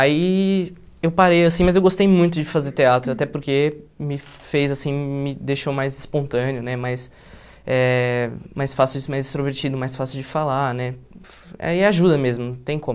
Aí eu parei assim, mas eu gostei muito de fazer teatro, até porque me fez assim me deixou mais espontâneo né, mais eh mais fácil de mais extrovertido, mais fácil de falar né, é e ajuda mesmo, não tem como.